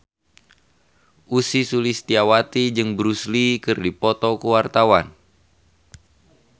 Ussy Sulistyawati jeung Bruce Lee keur dipoto ku wartawan